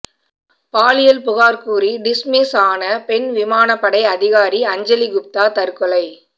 பாலியல் புகார் கூறி டிஸ்மிஸ் ஆன பெண் விமானப்படை அதிகாரி அஞ்சலி குப்தா தற்கொலை